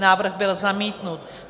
Návrh byl zamítnut.